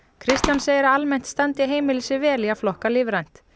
Kristján segir að almennt standi heimili sig vel í að flokka lífrænt